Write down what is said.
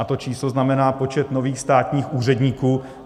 A to číslo znamená počet nových státních úředníků.